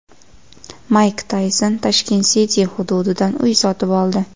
Mayk Tayson Tashkent City hududidan uy sotib oldi.